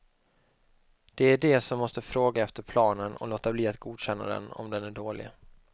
Det är de som måste fråga efter planen och låta bli att godkänna den om den är dålig.